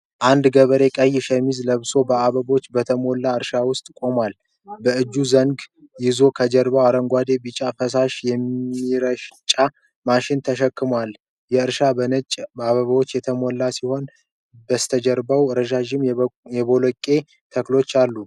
አንድ ገበሬ ቀይ ሸሚዝ ለብሶ በአበቦች በተሞላ እርሻ ውስጥ ቆሟል። በእጁ ዘንግ ይዞ ከጀርባው አረንጓዴና ቢጫ ፈሳሽ የሚረጭ መሳሪያ ተሸክሟል። እርሻው በነጭ አበባዎች የተሞላ ሲሆን ከበስተጀርባ ረዣዥም የበቆሎ ተክሎች አሉ።